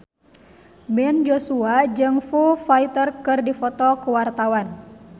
Ben Joshua jeung Foo Fighter keur dipoto ku wartawan